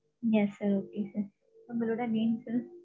Yes sir okay sir உங்களோட name sir